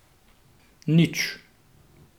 Nič.